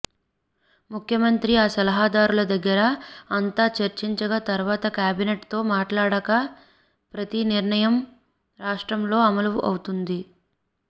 ముఖ్యమంత్రి ఆ సలహాదారుల దగ్గర అంతా చర్చించగా తర్వాత క్యాబినెట్ తో మాట్లాడాక ప్రతి నిర్ణయం రాష్ట్రంలో అమలు అవుతుంది